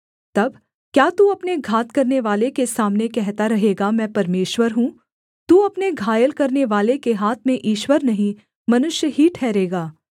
तब क्या तू अपने घात करनेवाले के सामने कहता रहेगा मैं परमेश्वर हूँ तू अपने घायल करनेवाले के हाथ में ईश्वर नहीं मनुष्य ही ठहरेगा